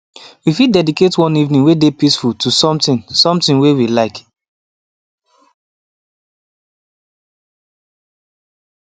we fit dedicate one evening way dey peaceful to something something way we like